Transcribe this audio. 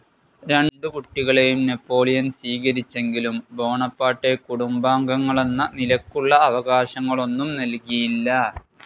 രണ്ടു കുട്ടികളെയും നാപ്പോളിയൻ സ്വീകരിച്ചെങ്കിലും ബോണപ്പാർട്ടെ കുടുംബാംഗങ്ങളെന്ന നിലയ്ക്കുള്ള അവകാശങ്ങളൊന്നും നൽകിയില്ല.